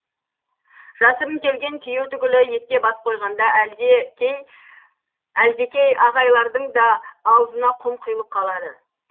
жасырын келген күйеу түгілі етке бас қойғанда әлдекей ағайлардың да аузына құм құйылып қалады